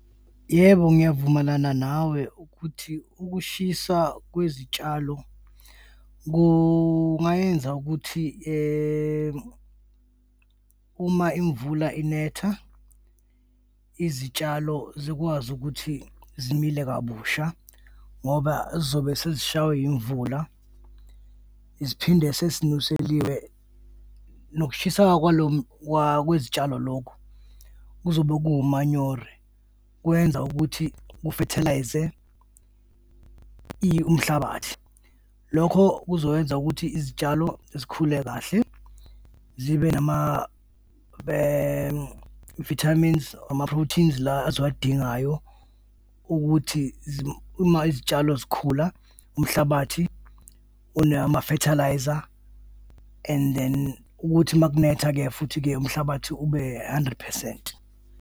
Yebo, ngiyavumelana nawe ukuthi ukushisa kwezitshalo kungayenza ukuthi uma imvula inetha, izitshalo zikwazi ukuthi zimile kabusha ngoba zizobe sezishaywe yimvula, ziphinde sesinuseliwe nokushiseka kwezitshalo lokho kuzobe kuwo umanyore, kwenza ukuthi kufethalayize umhlabathi. Lokho kuzokwenza ukuthi izitshalo zikhule kahle zibe nama-vitamins ama-proteins la eziwadingayo ukuthi uma izitshalo zikhula umhlabathi unamafethalayiza and then ukuthi uma kunetha-ke futhi-ke, umhlabathi ube hundred percent.